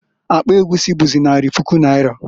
Akpa egwusi͈ buzi, nari puku naira.